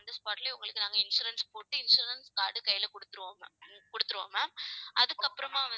on the spot லயே உங்களுக்கு நாங்க insurance போட்டு insurance card அ கையில கொடுத்திருவோம் கொடுத்துருவோம் ma'am அதுக்கப்புறமா